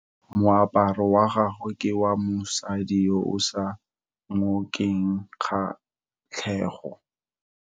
Moaparo wa gagwe ke wa mosadi yo o sa ngokeng kgatlhego.